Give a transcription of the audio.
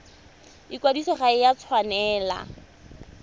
ikwadiso ga e a tshwanela